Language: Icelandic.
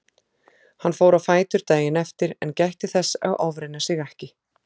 Hann fór á fætur daginn eftir en gætti þess að ofreyna sig ekki.